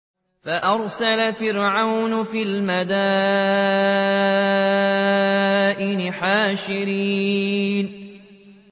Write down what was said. فَأَرْسَلَ فِرْعَوْنُ فِي الْمَدَائِنِ حَاشِرِينَ